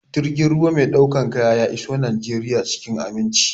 Jirgin ruwa mai ɗaukar kayan ya iso Najeriya cikin aminci.